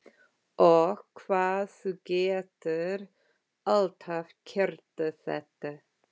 Og hvað þú getur alltaf kryddað þetta!